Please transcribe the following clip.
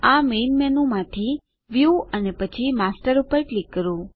આ main menu માંથી view અને પછી માસ્ટર પર ક્લિક કરો